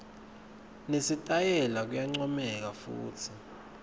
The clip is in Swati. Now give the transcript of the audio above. nesitayela kuyancomeka futsi